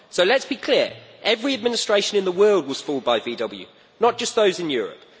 So let us be clear every administration in the world was fooled by Volkswagen, not just those in Europe.